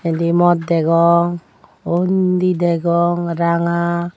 endi mot degong undi degong ranga.